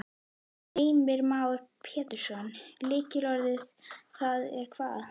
Heimir Már Pétursson: Lykilorðið þar er hvað?